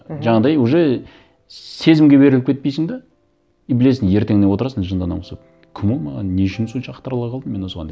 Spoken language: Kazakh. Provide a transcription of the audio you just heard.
мхм жаңағыдай уже сезімге беріліп кетпейсің де и білесің ертеңінде отырасың жынды адамға ұқсап кім ол маған не үшін сонша ақтарыла қалдым мен осыған деп